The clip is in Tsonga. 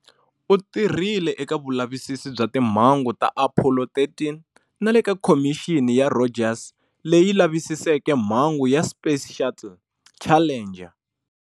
U tirhile eka vulavisisi bya timhangu ta Apollo 13 na le ka Khomixini ya Rogers, leyi lavisiseke mhangu ya Space Shuttle"Challenger".